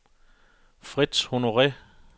Frits Honore